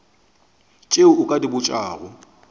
tše o ka di botšago